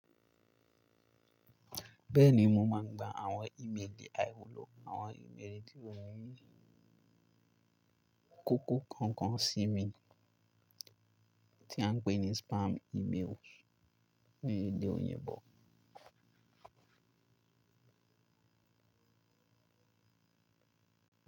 Bẹ́ẹ̀ni, mo máa ń gba àwọn ìméèlì àìwùlọ̀ àwọn ìméèlì tí ó ní ì kòkò kankan sí mi tí à ń pè ní spam emails ní ilẹ̀ òyìnbó.